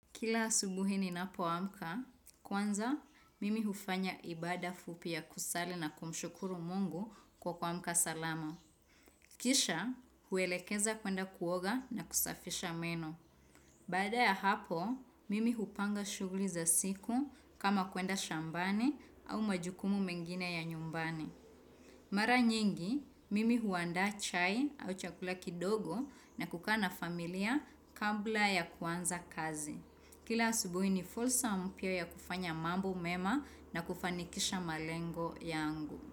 Kila asubuhi ninapoamka, kwanza mimi hufanya ibada fupi ya kusali na kumshukuru mungu kwa kuamka salama. Kisha, huelekeza kuenda kuoga na kusafisha meno. Baada ya hapo, mimi hupanga shughuli za siku kama kuenda shambani au majukumu mengine ya nyumbani. Mara nyingi, mimi huandaa chai au chakula kidogo na kukaa na familia kabla ya kuanza kazi. Kila asubuhi ni fursa mpya ya kufanya mambo mema na kufanikisha malengo yangu.